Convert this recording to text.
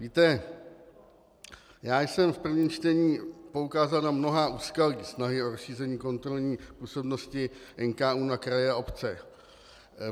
Víte, já jsem v prvním čtení poukázal na mnohá úskalí snahy o rozšíření kontrolní působnosti NKÚ na kraje a obce.